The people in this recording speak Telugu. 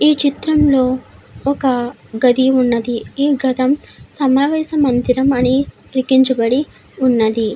ఈ చిత్రం లో ఒక గది ఉన్నది ఈ గదం సమావేశ మందిరం అని లికించబడి ఉన్నది.